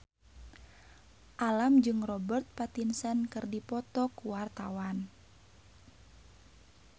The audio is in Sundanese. Alam jeung Robert Pattinson keur dipoto ku wartawan